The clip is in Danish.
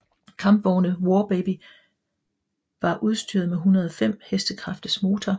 Kampvogne War Baby var udstyret med 105 hk motor